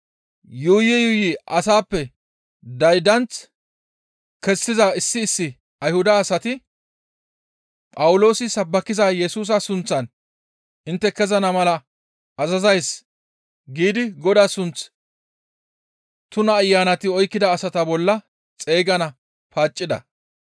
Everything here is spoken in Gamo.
Yuuyi yuuyi asappe daydanth kessiza issi issi Ayhuda asati, «Phawuloosi sabbakiza Yesusa sunththan intte kezana mala azazays» giidi Godaa sunth tuna ayanati oykkida asata bolla xeygana paaccida.